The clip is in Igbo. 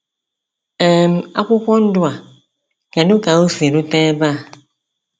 um Akwụkwọ Ndụ a— Kedụ ka o si rute ebe a?